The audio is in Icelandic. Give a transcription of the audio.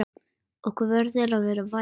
Okkur verður að vera vært!